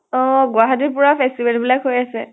অ গুৱাহাটীত পুৰা festival বিলাক হৈ আছে।